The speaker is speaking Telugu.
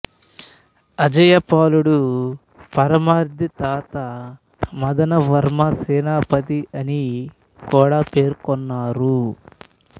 అజయపాలుడు పరమార్ది తాత మదనవర్మ సెనాపతి అని కూడా పేర్కొన్నారు